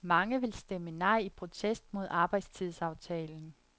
Mange vil stemme nej i protest mod arbejdstidsaftalen.